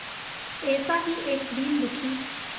ऐसा ही एक दीन दुखी